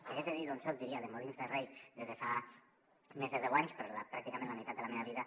si hagués de dir d’on soc diria de molins de rei des de fa més de deu anys però pràcticament la meitat de la meva vida